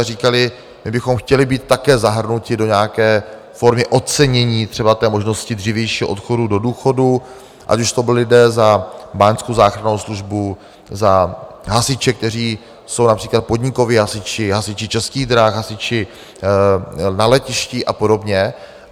A říkali, my bychom chtěli být také zahrnuti do nějaké formy ocenění, třeba té možnosti dřívějšího odchodu do důchodu, ať už to byli lidé za báňskou záchrannou službu, za hasiče, kteří jsou například podnikoví hasiči, hasiči Českých drah, hasiči na letišti a podobně.